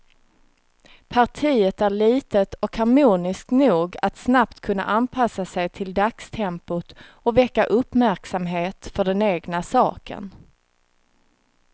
Partiet är litet och harmoniskt nog att snabbt kunna anpassa sig till dagstempot och väcka uppmärksamhet för den egna saken.